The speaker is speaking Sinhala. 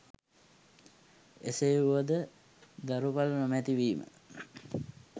එසේ වුව ද දරුඵල නොමැති වීම